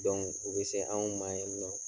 u be se anw ma yen nɔ